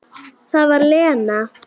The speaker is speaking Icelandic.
Það var Lena.